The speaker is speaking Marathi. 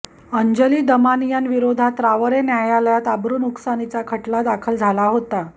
अंजली दमानियांविरोधात रावेर न्यायालयात अब्रूनुकसानीचा खटला दाखल झाला होता